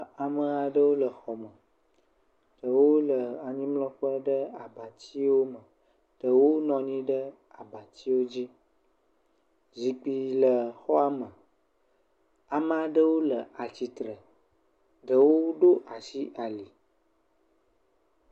Ame aɖewo le xɔme. Ɖewo le anyimlɔƒe ɖe abatsiwo me, ɖewo nɔ anyi ɖe abatsiwo dzi. Zikpi le xɔa me. Ame aɖewo le atsitre. Ɖewo ɖo ashi ali.